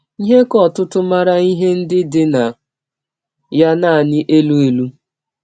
Ihe ka ọtụtụ maara ihe ndị dị na ya nanị elụ elụ.